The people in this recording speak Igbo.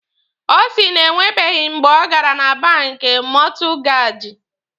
Ọ sị na enwebeghi mgbe ọ gara na banki Mọtụgaji.